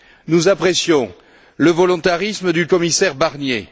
Nous apprécions le volontarisme du commissaire Barnier.